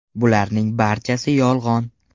Bularning barchasi yolg‘on.